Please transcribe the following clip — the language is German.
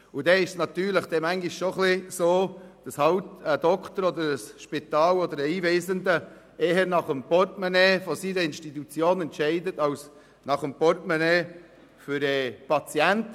Das hat zur Folge, dass halt schon mal ein Arzt, ein Spital oder ein Einweisender eher zugunsten des Portemonnaies seiner Institution entscheidet als zugunsten des Portemonnaies des Patienten.